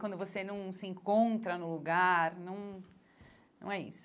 Quando você não se encontra no lugar, não não é isso.